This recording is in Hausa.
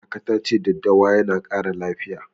Kaka ta ce daddawa yana ƙara lafiya.